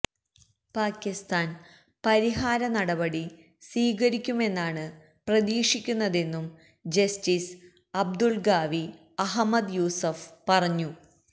പാകിസ്താന് പരിഹാര നടപടി സ്വീകരിക്കുമെന്നാണ് പ്രതീക്ഷിക്കുന്നതെന്നും ജസ്റ്റിസ് അബ്ദുള്ഖാവി അഹമ്മദ് യൂസഫ് പറഞ്ഞു